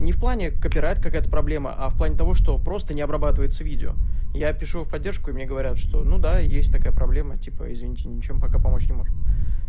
не в плане коперать какая-то проблема а в плане того что просто не обрабатывается видео я пишу в поддержку и мне говорят что ну да есть такая проблема типа извините ничем пока помочь не можем